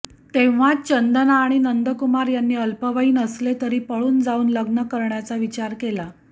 तेव्हाच चंदना आणि नंद कुमार यांनी अल्पवयीन असले तरी पळून जाऊन लग्न करण्याचा विचार केला